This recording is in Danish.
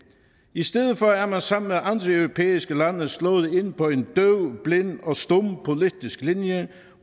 i stedet for er man sammen med andre europæiske lande slået ind på en døv blind og stum politisk linje